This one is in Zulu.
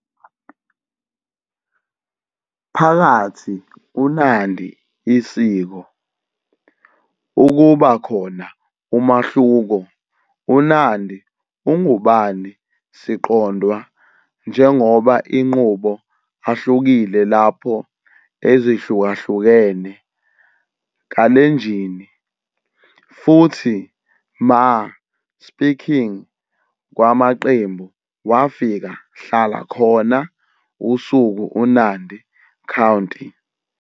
Phakathi uNandi isiko, ukuba khona umahluko uNandi ungubani siqondwa njengoba inqubo ahlukile lapho ezihlukahlukene Kalenjin futhi Maa -speaking kwamaqembu wafika hlala khona usuku uNandi County.